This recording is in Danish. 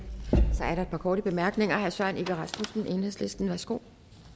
så er der et par korte bemærkninger herre søren egge rasmussen enhedslisten værsgo